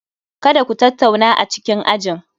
Kada Ku tattauna a cikin ajin